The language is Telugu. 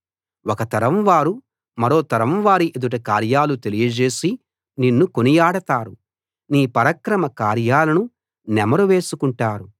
ఒక తరం వారు మరో తరం వారి ఎదుట కార్యాలు తెలియజేసి నిన్ను కొనియాడతారు నీ పరాక్రమ కార్యాలను నెమరు వేసుకుంటారు